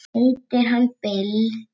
Heitir hann Bill?